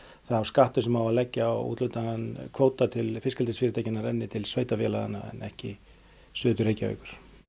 sá skattur sem á að leggja á úthlutaðan kvóta til fiskeldisfyrirtækjanna renni til sveitarfélaganna en ekki suður til Reykjavíkur